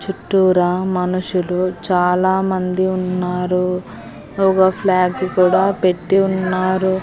చుట్టూరా మనుషులు చాలామంది ఉన్నారు ఒగ ఫ్లాగు కుడా పెట్టి ఉన్నారు.